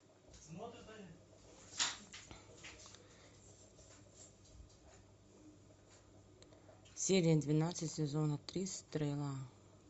серия двенадцать сезона три стрела